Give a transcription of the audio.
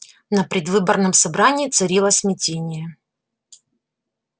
на предвыборном собрании царило смятение